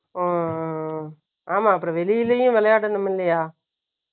ம். ஆமா. அப்புறம், வெளியிலேயும் விளையாடணும், இல்லையா?